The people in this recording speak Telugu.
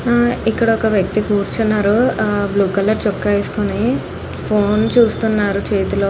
ఆహ్ ఇక్కడ ఒక వ్యక్తి కూర్చున్నాడు బ్లూ కలర్ చొక్కా వేసుకొని. ఫోన్ చూస్తున్నారు చేతిలో.